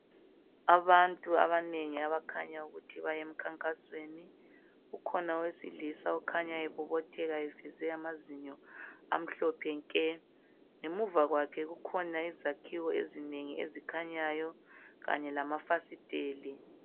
Abantu abanengi abakhanya ukuthi bayemkhankasweni kukhona owesilisa okhanya ebobotheka eveze amazinyo amhlophe nke ngemuva kwakhe kukhona izakhiwo ezinengi ezikhanyayo kanye lamafasitela.